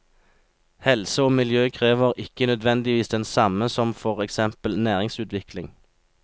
Helse og miljø krever ikke nødvendigvis den samme som for eksempel næringsutvikling.